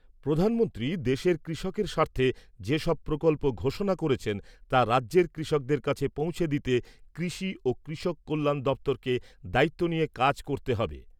প্রধানমন্ত্রী দেশের কৃষকের স্বার্থে যেসব প্রকল্প ঘোষণা করেছেন তা রাজ্যের কৃষকদের কাছে পৌঁছে দিতে কৃষি ও কৃষক কল্যাণ দপ্তরকে দায়িত্ব নিয়ে কাজ করতে হবে।